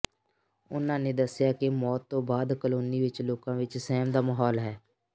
ਉਨ੍ਹਾਂ ਨੇ ਦੱਸਿਆ ਕਿ ਮੌਤ ਤੋਂ ਬਾਅਦ ਕਲੋਨੀ ਵਿਚ ਲੋਕਾਂ ਵਿਚ ਸਹਿਮ ਦਾ ਮਾਹੌਲ ਹੈ